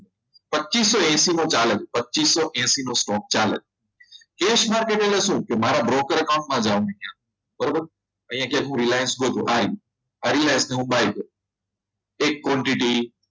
પચીસો એસી ચાલે છે પચીસો એસી નો stock ચાલે છે cash માટે કહે છે કે મારા broker account માં જવાનું જામી ગયા બરોબર અહીંયા જેવું Reliance ન હતું આ Reliance હું buy કરીશ એક quantity